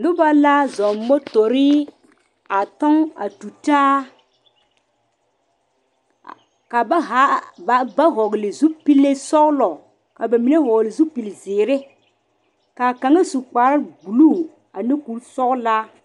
Noba la zɔɔ motore a toŋ a tu taa ka ba haa ka ba vɔgle zupele sɔglɔ ka ba mine vɔgle zupele ziiri kaa kaŋa su kpare buluu ane kuri sɔglaa.